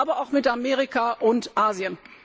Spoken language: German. aber auch mit Amerika und Asien.